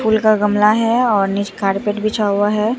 फूल का गमला है और नीचे कार्पेट बिछा हुआ हैं।